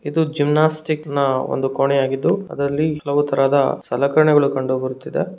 ಇದು ಜಿಮ್ನೋಸ್ಟಿಕ್ ನ ಒಂದು ಕೋಣೆಯಾಗಿದ್ದು ಅದರಲ್ಲಿ ಹಲವು ತರಹದ ಸಲಕರಣೆಗಳು ಕಂಡು ಬರುತ್ತಿದೆ.